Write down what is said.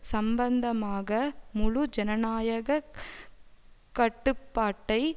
சம்பந்தமாக முழு ஜனநாயக கட்டுப்பாட்டை